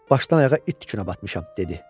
Başdan-ayağa it tükünə batmışam, dedi.